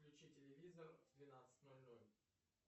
включи телевизор в двенадцать ноль ноль